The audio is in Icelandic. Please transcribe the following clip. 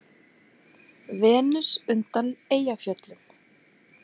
Venus undan Eyjafjöllum.